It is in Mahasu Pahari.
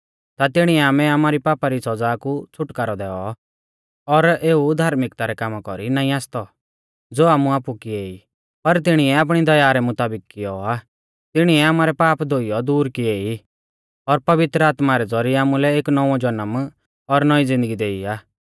ता तिणिऐ आमै आमारी पापा री सौज़ा कु छ़ुटकारौ दैऔ और एऊ धार्मिकता रै कामा कौरी नाईं आसतौ ज़ो आमुऐ आपु किऐ ई पर तिणीऐ आपणी दया रै मुताबिक कियौ आ तिणीऐ आमारै पाप धोइयौ दूर किऐ ई और पवित्र आत्मा रै ज़ौरिऐ आमुलै एक नौंवौ ज़नम और नौईं ज़िन्दगी देई आ